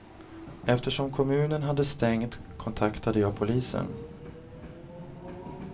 Eftersom kommunen hade stängt kontaktade jag polisen.